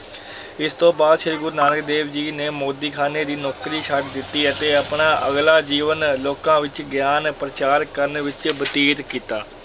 ਇਸ ਤੋਂ ਬਾਅਦ ਸ੍ਰੀ ਗੁਰੂ ਨਾਨਕ ਦੇਵ ਜੀ ਨੇ ਮੋਦੀਖ਼ਾਨੇ ਦੀ ਨੌਕਰੀ ਛੱਡ ਦਿੱਤੀ ਅਤੇ ਆਪਣਾ ਅਗਲਾ ਜੀਵਨ ਲੋਕਾਂ ਵਿੱਚ ਗਿਆਨ ਪ੍ਰਚਾਰ ਕਰਨ ਵਿੱਚ ਬਤੀਤ ਕੀਤਾ।